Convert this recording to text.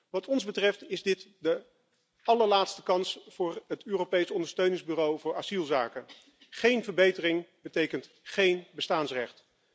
Wat ons betreft, is dit de allerlaatste kans voor het Europees Ondersteuningsbureau voor asielzaken geen verbetering betekent geen bestaansrecht.